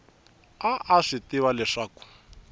a a swi tiva leswaku